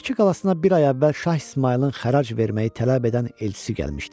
Bakı qalasına bir ay əvvəl Şah İsmayılın xərac verməyi tələb edən elçisi gəlmişdi.